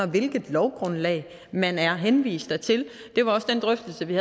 hvilket lovgrundlag man er henvist dertil det var også den drøftelse vi